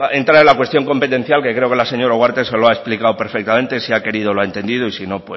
entrar en la cuestión competencial que creo que la señora ugarte se lo ha explicado perfectamente si ha querido lo ha entendido y si no